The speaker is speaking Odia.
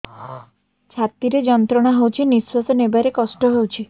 ଛାତି ରେ ଯନ୍ତ୍ରଣା ହଉଛି ନିଶ୍ୱାସ ନେବାରେ କଷ୍ଟ ହଉଛି